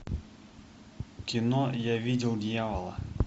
кино я видел дьявола